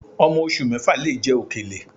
Ọmọ oṣù mẹ́fà lè jẹ òkèlè